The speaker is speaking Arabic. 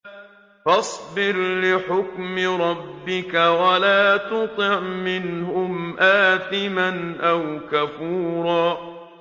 فَاصْبِرْ لِحُكْمِ رَبِّكَ وَلَا تُطِعْ مِنْهُمْ آثِمًا أَوْ كَفُورًا